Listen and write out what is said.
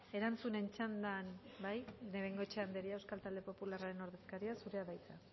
erantzunen txandan bai de bengoechea andrea euskal talde popularren ordezkaria zurea da hitza